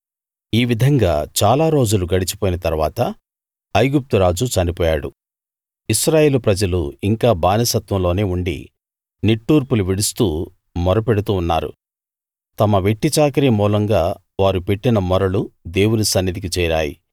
ఈ విధంగా చాలా రోజులు గడచిపోయిన తరువాత ఐగుప్తు రాజు చనిపోయాడు ఇశ్రాయేలు ప్రజలు ఇంకా బానిసత్వంలోనే ఉండి నిట్టూర్పులు విడుస్తూ మొర పెడుతూ ఉన్నారు తమ వెట్టిచాకిరీ మూలంగా వారు పెట్టిన మొరలు దేవుని సన్నిధికి చేరాయి